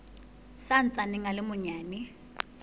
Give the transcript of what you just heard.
sa ntsaneng a le manyane